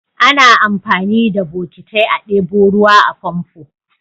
Ana amfani da bokitai a ɗebo ruwa a famfo.